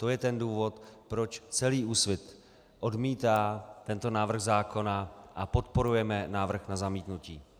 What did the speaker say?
To je ten důvod, proč celý Úsvit odmítá tento návrh zákona a podporujeme návrh na zamítnutí.